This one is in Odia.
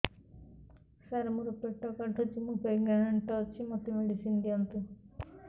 ସାର ମୋର ପେଟ କାଟୁଚି ମୁ ପ୍ରେଗନାଂଟ ଅଛି ମେଡିସିନ ଦିଅନ୍ତୁ